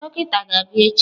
Dọkịta ga-abịa echi.